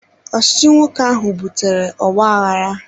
Ọchịchị nwoke ahụ butere ogbaaghara